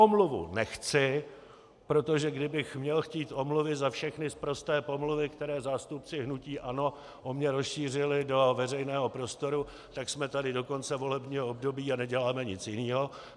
Omluvu nechci, protože kdybych měl chtít omluvy za všechny sprosté pomluvy, které zástupci hnutí ANO o mně rozšířili do veřejného prostoru, tak jsme tady do konce volebního období a neděláme nic jiného.